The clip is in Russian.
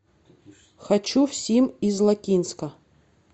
хочу в сим из лакинска